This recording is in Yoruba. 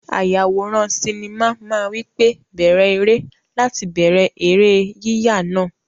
Ayàwòrán sinimá máa wí pé "bẹ̀rẹ̀ eré" láti bẹ̀rẹ̀ eré yíyà náà.